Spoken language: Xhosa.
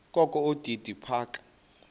kokho udidi phaka